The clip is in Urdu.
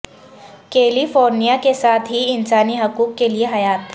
کیلی فورنیا کے ساتھ ہی انسانی حقوق کے لئے حیات